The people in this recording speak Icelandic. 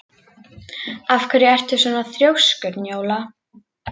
Af hverju ertu svona þrjóskur, Njóla?